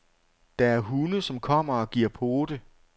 Der er hunde, som kommer og giver pote.